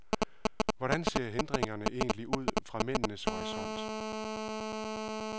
Hvordan ser hindringerne egentlig ud fra mændenes horisont?